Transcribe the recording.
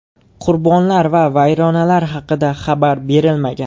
Qurbonlar va vayronalar haqida xabar berilmagan.